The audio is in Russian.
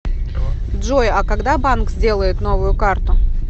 джой а когда банк сделает новую карту